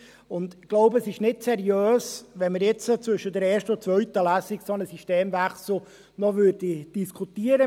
Ich glaube, es wäre nicht seriös, wenn wir zwischen der ersten und zweiten Lesung einen solchen Systemwechsel noch diskutierten.